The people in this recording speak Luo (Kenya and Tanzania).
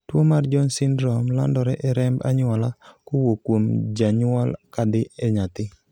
tuo mar Jones syndrome landore e remb anyuola kowuok kuom janyuol kadhi ne nyathi